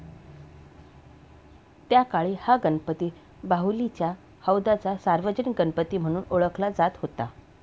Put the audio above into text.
त्याकाळी हा गणपती बाहुलीच्या हौदाचा सार्वजनिक गणपती म्हणून ओळखला जात होता.